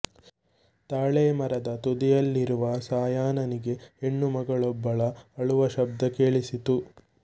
ತಾಳೆಮರದ ತುದಿಯಲ್ಲಿರುವ ಸಾಯನನಿಗೆ ಹೆಣ್ಣು ಮಗಳೊಬ್ಬಳ ಅಳುವ ಶಬ್ದ ಕೇಳಿಸಿತು